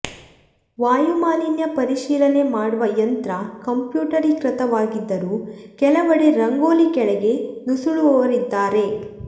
ವಾಯುಮಾಲಿನ್ಯ ಪರಿಶೀಲನೆ ಮಾಡುವ ಯಂತ್ರ ಕಂಪ್ಯೂಟರೀಕೃತವಾಗಿದ್ದರೂ ಕೆಲವೆಡೆ ರಂಗೋಲಿ ಕೆಳಗೆ ನುಸುಳುವವರಿದ್ದಾರೆ